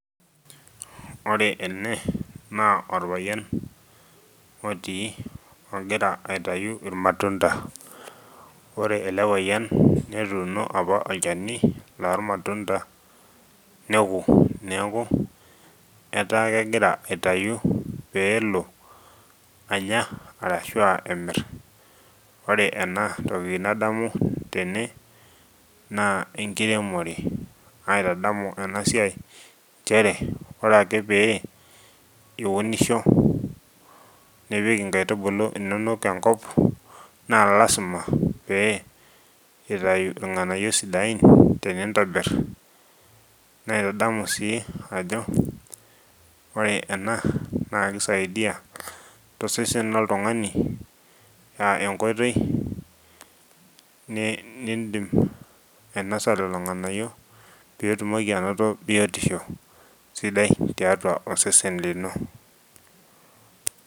Ore ene naa orpayian otii ogira aitayu irmatunda ore ele payian netuuno apa olchani lormatunda neku neeku etaa kegira aitayu pee elo anya arashua emirr ore enatoki nadamu tene naa enkiremore naitadamu ena siai nchere ore ake pee iunisho nipik inkaitubulu inonok enkop naa lasima pee itayu irng'anayio sidain tenintobirr naitadamu sii ajo ore ena naa kisaidia tosesen loltung'ani uh enkoitoi ne nindim ainosa lelo ng'anayio pitumoki anoto biotisho sidai tiatua osesen lino.